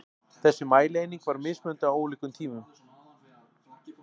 Þessi mælieining var mismunandi á ólíkum tímum.